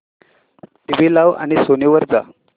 TV लाव आणि Sony वर जा